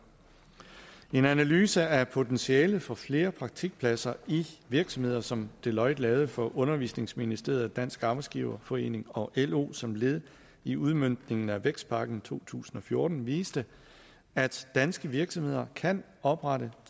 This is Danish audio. en analyse af potentialet for flere praktikpladser i virksomheder som deloitte lavede for undervisningsministeriet dansk arbejdsgiverforening og lo som led i udmøntningen af vækstpakke to tusind og fjorten viste at danske virksomheder kan oprette